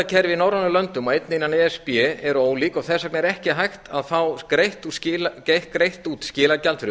skilagjaldakerfi í norrænum löndum og einnig innan e s b eru ólík þess vegna er ekki hægt að fá greitt út skilagjald fyrir